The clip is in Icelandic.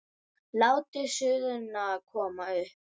Látið suðuna koma upp.